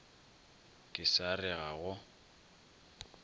ke sa re ga go